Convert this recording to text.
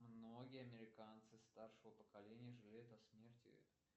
многие американцы старшего поколения жалеют о смерти